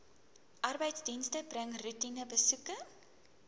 arbeidsdienste bring roetinebesoeke